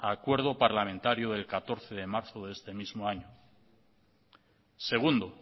acuerdo parlamentario del catorce de marzo de este mismo año segundo